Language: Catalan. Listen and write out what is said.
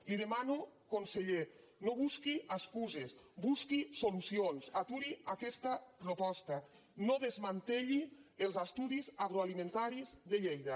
li ho demano conseller no busqui excuses busqui solucions aturi aquesta proposta no desmantelli els estudis agroalimentaris de lleida